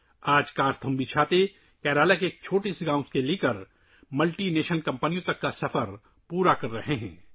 آج کرتھمبی چھتریاں کیرالہ کے ایک چھوٹے سے گاؤں سے ملٹی نیشنل کمپنیوں تک اپنا سفر مکمل کر رہی ہے